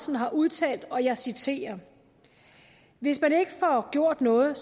har udtalt og jeg citerer hvis man ikke får gjort noget